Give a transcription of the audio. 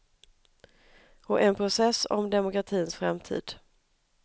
Och en process om demokratins framtid.